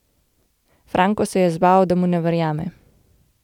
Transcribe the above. Franko se je zbal, da mu ne verjame.